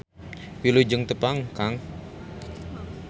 Wilujeng tepang kang.